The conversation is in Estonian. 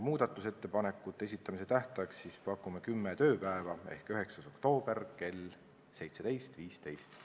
Muudatusettepanekute esitamise tähtajaks pakume kümme tööpäeva ehk 9. oktoober kell 17.15.